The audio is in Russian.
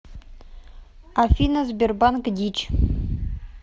афина сбербанк дичь